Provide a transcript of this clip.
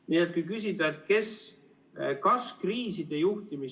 Nii et kui küsida, kes kriise juhib ...